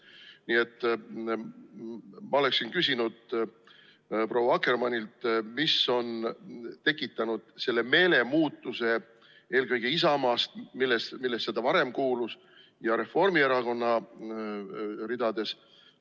Nii et ma oleksin küsinud proua Akkermannilt, mis on tekitanud selle meelemuutuse eelkõige Isamaas, millesse ta varem kuulus, ja Reformierakonna ridades.